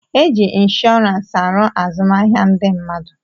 E ji inshọransị aru azụmahịa ndị mmadụ.